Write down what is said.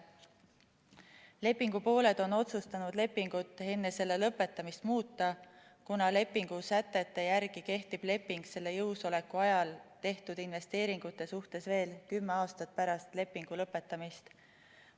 Lepingupooled on otsustanud lepingut enne selle lõpetamist muuta, kuna lepingu sätete järgi kehtib leping selle jõusoleku ajal tehtud investeeringute suhtes veel kümme aastat pärast lepingu lõpetamist.